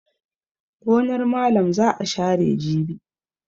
Gonar malam za a share jibi.